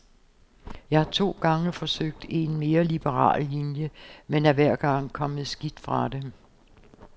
Jeg har to gange forsøgt en mere liberal linje, men er hver gang kommet skidt fra det.